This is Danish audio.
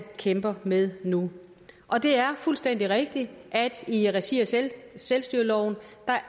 kæmper med nu og det er fuldstændig rigtigt at i regi af selvstyreloven